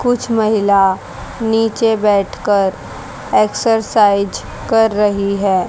कुछ महिला नीचे बैठकर एक्सरसाइज कर रही है।